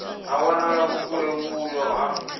ha wanala vhukule vhuyo ha